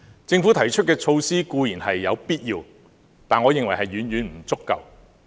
政府提出的措施固然有必要，但我認為是遠遠不足夠的。